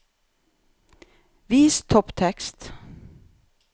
Vis topptekst